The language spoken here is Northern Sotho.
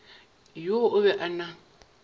yoo o be a na